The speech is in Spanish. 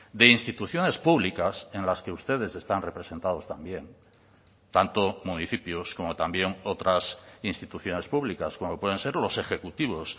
de instituciones públicas en las que ustedes están representados también tanto municipios como también otras instituciones públicas como pueden ser los ejecutivos